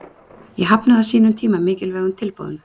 Ég hafnaði á sínum tíma mikilvægum tilboðum.